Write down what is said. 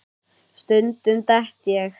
Stundum dett ég.